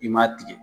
I m'a tigɛ